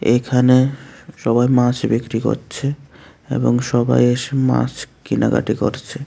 এইখানে স-সবাই মাছ বিক্রি করছে এবং সবাই এসে মাছ কেনাকাটি করছে।